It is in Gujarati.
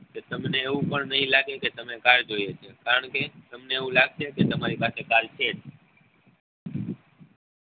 તો તમને એવું પણ નહી લાગશે કે તમે કાલ જોયું હશે કારણ કે તમને એવું લાગશે કે તમારી પાસે કાલ છે જ